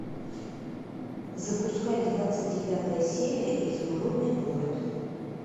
запускай двадцать девятая серия изумрудный город